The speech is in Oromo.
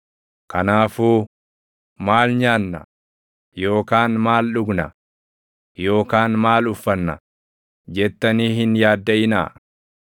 Kanaafuu, ‘Maal nyaanna?’ yookaan ‘Maal dhugna?’ yookaan ‘Maal uffanna?’ jettanii hin yaaddaʼinaa.